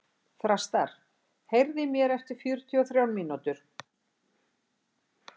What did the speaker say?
Þrastar, heyrðu í mér eftir fjörutíu og þrjár mínútur.